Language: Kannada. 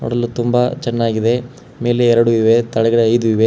ನೋಡಲು ತುಂಬಾ ಚೆನ್ನಾಗಿದೆ ಮೇಲೆ ಎರಡು ಇವೆ ತೆಳಗಡೆ ಐದು ಇವೆ.